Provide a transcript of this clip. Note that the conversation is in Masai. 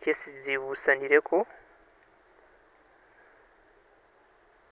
chesi zibusanileko